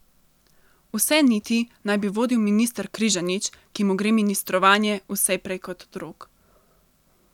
Vse niti naj bi vodil minister Križanič, ki mu gre ministrovanje vse prej kot od rok.